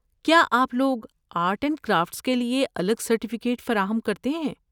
کیا آپ لوگ آرٹ اینڈ کرافٹس کے لیے الگ سرٹیفکیٹ فراہم کرتے ہیں؟